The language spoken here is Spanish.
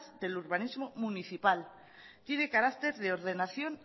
del urbanismo municipal tiene carácter de ordenación